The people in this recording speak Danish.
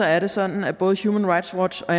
er det sådan at både human rights watch og